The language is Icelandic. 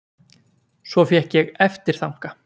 Svo fékk ég eftirþanka.